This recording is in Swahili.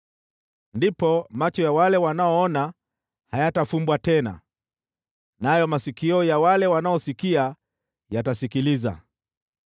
Ndipo macho ya wale wanaoona hayatafumbwa tena, nayo masikio ya wale wanaosikia yatasikiliza.